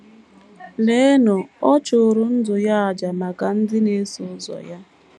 Leenụ, ọ chụrụ ndụ ya n’àjà maka ndị na - eso ụzọ ya!